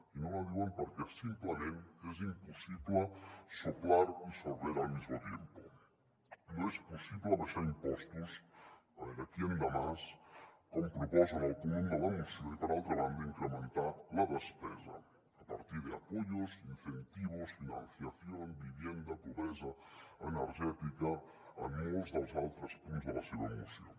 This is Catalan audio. i no la diuen perquè simplement és impossible soplar y sorber al mismo tiempo no és possible abaixar impostos a veure quién da más com proposen al punt un de la moció i per altra banda incrementar la despesa a partir de apoyos incentivos financiación vivienda pobresa energètica en molts dels altres punts de la seva moció